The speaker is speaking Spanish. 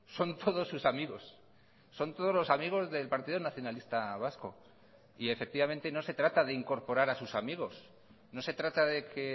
son todos sus amigos son todos los amigos del partido nacionalista vasco y efectivamente no se trata de incorporar a sus amigos no se trata de que